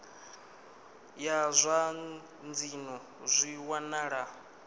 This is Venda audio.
ya zwa dzinnu zwi wanala